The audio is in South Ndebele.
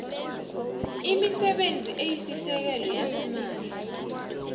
imisebenzi esisekelo yasimahla